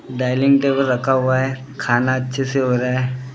Dining table रखा हुआ है खाना अच्छे से हो रहा है।